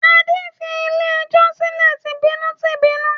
Adé fi ilé-ẹjọ́ sílẹ̀ tìbínú-tìbínú.